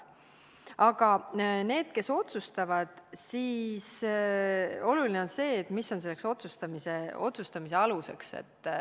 Aga nende puhul, kes otsustavad, on oluline see, mis on otsustamisel aluseks.